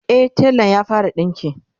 e telan ya fara dinki